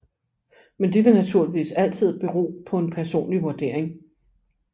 Men det vil naturligvis altid bero på en personlig vurdering